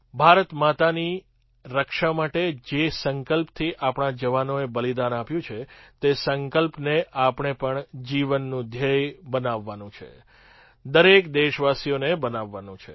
ભારતમાતાની રક્ષા માટે જે સંકલ્પથી આપણા જવાનોએ બલિદાન આપ્યું છે તે સંકલ્પને આપણે પણ જીવનનું ધ્યેય બનાવવાનું છે દરેક દેશવાસીને બનાવવાનું છે